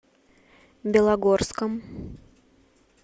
белогорском